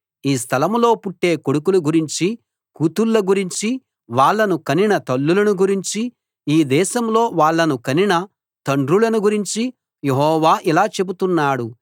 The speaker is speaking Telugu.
ఈ స్థలంలో పుట్టే కొడుకుల గురించి కూతుళ్ళ గురించి వాళ్ళను కనిన తల్లులను గురించి ఈ దేశంలో వాళ్ళను కనిన తండ్రులను గురించి యెహోవా ఇలా చెబుతున్నాడు